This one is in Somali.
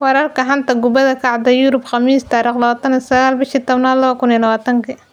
Wararka xanta kubada cagta Yurub Khamiis 29.10.2020: Calhanoglu, Alaba, Son, Lundstram, Gravenberch, Mustafi, Pochettino